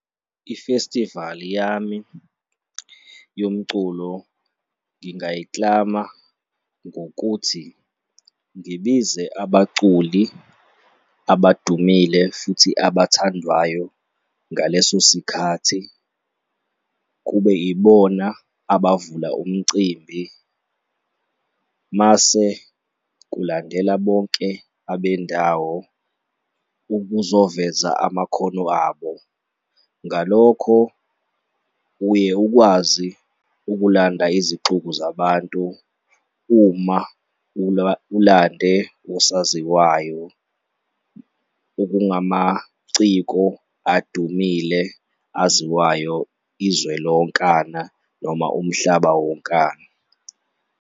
Ifestivali yami yomculo ngingayiklama ngokuthi ngibize abaculi abadumile futhi abathandwayo ngaleso sikhathi kube ibona abavula umcimbi mase kulandela bonke abendawo ukuzoveza amakhono abo. Ngalokho uye ukwazi ukulanda izixuku zabantu uma ulande osaziwayo okungamaciko adumile, aziwayo izwe lonkana noma umhlaba wonkana.